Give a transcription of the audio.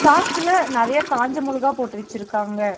பாக்குல நெறையா காஞ்ச மொளகா போட்டு வச்சுருக்காங்க.